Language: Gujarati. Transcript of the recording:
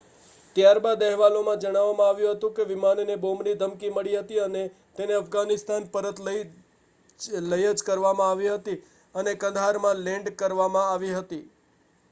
ત્યારબાદ અહેવાલો માં જણાવવામાં આવ્યું હતું કે વિમાનને બોમ્બની ધમકી મળી હતી અને તેને અફઘાનિસ્તાન પરત લઈ જકરવામાં આવી હતી અને કંદહાર માં લેન્ડકરવામાં આવી હતી